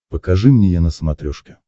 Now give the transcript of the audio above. покажи мне е на смотрешке